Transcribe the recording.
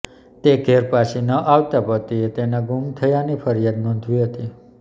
તે ઘેર પાછી ન આવતાં પતિએ તેના ગુમ થવાની ફરિયાદ નોંધાવી હતી